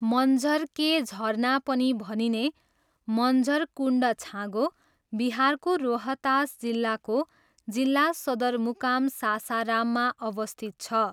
मन्झर के झरना पनि भनिने मन्झर कुण्ड छाँगो बिहारको रोहतास जिल्लाको जिल्ला सदरमुकाम सासाराममा अवस्थित छ।